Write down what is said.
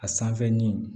A sanfɛ nin